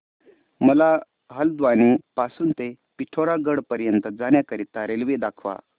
मला हलद्वानी पासून ते पिठोरागढ पर्यंत जाण्या करीता रेल्वे दाखवा